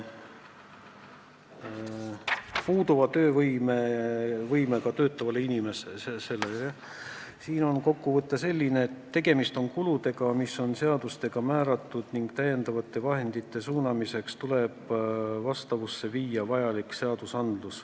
Puuduva töövõimega töötavad inimesed – siin on kokkuvõte selline, et tegemist on kuludega, mis on seadustega määratud, ning täiendavate vahendite suunamiseks tuleb vastu võtta vajalikud õigusaktid.